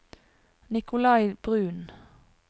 Nikolai Bruun